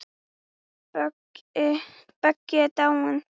Böggi er dáinn.